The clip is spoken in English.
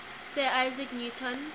sir isaac newton